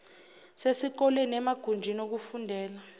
sesikoleni emagunjini okufundela